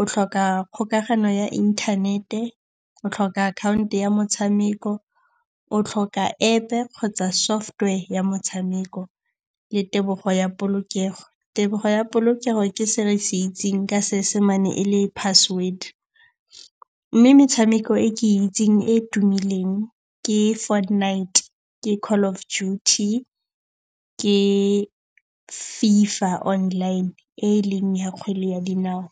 O tlhoka kgokagano ya inthanete. O tlhoka akhaonto ya motshameko. O tlhoka App-e kgotsa software ya motshameko le tebogo ya polokego. Tebogo ya polokego ke se re se itseng ka seesemane e leng password. Mme metshameko e ke e itseng e e tumileng, ke Fortnite, ke Call of Duty, ke Fifa Online e e leng ya kgwele ya dinao.